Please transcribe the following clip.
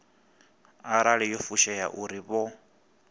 arali yo fushea uri vho